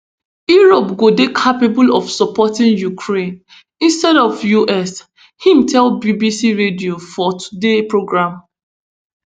europe go dey capable of supporting ukraine instead of us im tell bbc radio four today programme